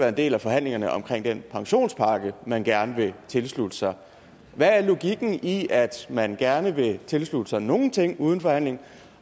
en del af forhandlingerne om den pensionspakke man gerne vil tilslutte sig hvad er logikken i at man gerne vil tilslutte sig nogle ting uden forhandling og